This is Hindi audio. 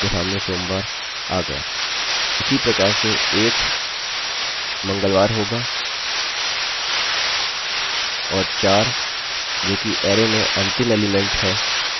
उसी प्रकार से एक मंगलवार होगा और चार जो कि अरैarrayमें अंतिम एलीमेंट हैशुक्रवार होगा